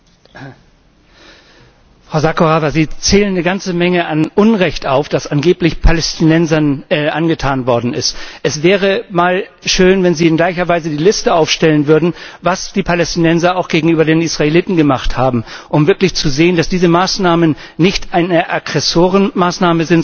Frau Sakorafa! Sie zählen eine ganze Menge an Unrecht auf, das angeblich Palästinensern angetan worden ist. Es wäre mal schön, wenn Sie in gleicher Weise die Liste aufstellen würden, was die Palästinenser auch gegenüber den Israeliten gemacht haben, um wirklich zu sehen, dass diese Maßnahmen nicht eine Aggressorenmaßnahme sind, sondern dass das Schutzmaßnahmen sind.